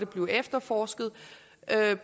blevet efterforsket